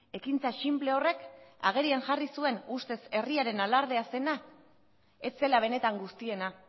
ekintza sinple horrek agerian jarri zuen ustez herriaren alardea zena ez zela benetan guztiena